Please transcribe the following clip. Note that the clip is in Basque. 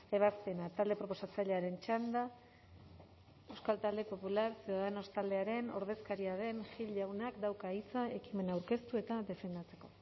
ebazpena talde proposatzailearen txanda euskal talde popular ciudadanos taldearen ordezkaria den gil jaunak dauka hitza ekimena aurkeztu eta defendatzeko